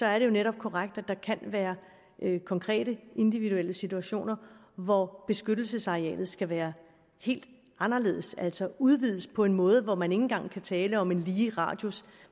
er det jo netop korrekt at der kan være konkrete individuelle situationer hvor beskyttelsesarealet skal være helt anderledes altså udvides på en måde hvor man ikke engang kan tale om en lige radius